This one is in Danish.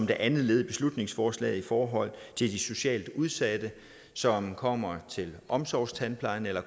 det andet led i beslutningsforslaget i forhold til de socialt udsatte som kommer til omsorgstandplejen eller